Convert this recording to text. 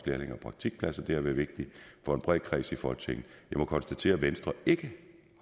lærlinge og praktikpladser det har været vigtigt for en bred kreds i folketinget jeg må konstatere at venstre ikke